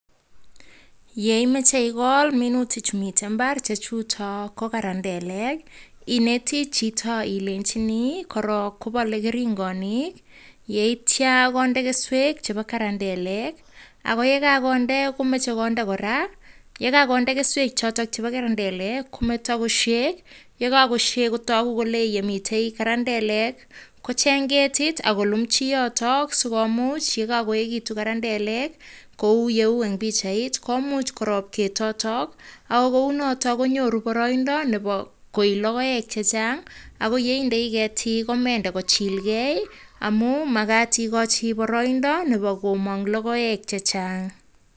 Yeimache ikol minutik chu mitei imbar che chutok ko karandelek. Ineti chito ilenjini korok kobalei keringonik, yeityo konde keswek chebo karandelek ako ye kakonde, komachei konde kora, yekakonde keswe chotok bo karandelek kometa koshei kotaku kol yemitei karandelek, kochny ketit ak kolumchi yotok, sikomuch yekakoekitu karandelek kou yeu eng pichait, komuch korop ketotok ako kou nitik konyoru boraindo nebo koii logoek che chan'g. Ako yeindei ketik komende kochilgei amun makat ikochi boroindo nebo koman'g logoek che chan'g.